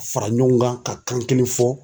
Fara ɲɔgɔn kan ka kan kelen fɔ.